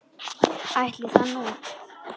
Ætli það nú.